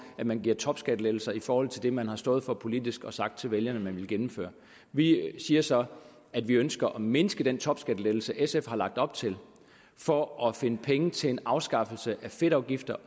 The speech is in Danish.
at man giver topskattelettelser i forhold til det man har stået for politisk og sagt til vælgerne at man ville gennemføre vi siger så at vi ønsker at mindske den topskattelettelse sf har lagt op til for at finde penge til en afskaffelse af fedtafgiften og